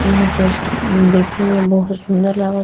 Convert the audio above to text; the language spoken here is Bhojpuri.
इह कुल देखे में बहुत सुन्दर लाग --